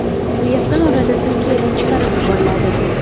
U yaqin orada Turkiyadan chiqarib yuboriladi.